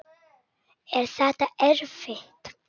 Er þetta erfitt?